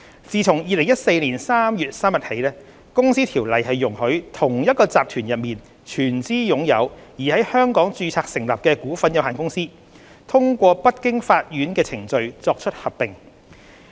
自2014年3月3日起，《公司條例》容許同一集團內全資擁有而在香港註冊成立的股份有限公司，通過不經法院的程序作出合併。